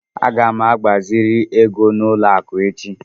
Aga m agbaziri ego n'ụlọ akụ echi.